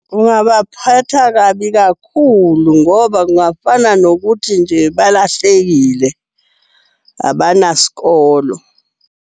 Kungabaphatha kabi kakhulu ngoba kungafana nokuthi nje balahlekile, abanaskolo.